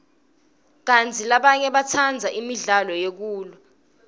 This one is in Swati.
kantsi labanye batsandza imidlalo yekulwa